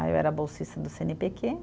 Aí eu era bolsista do cê ene pê quê.